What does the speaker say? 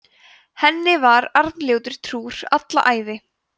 henni var arnljótur trúr alla ævi